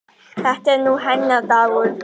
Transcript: Þetta er nú hennar dagur.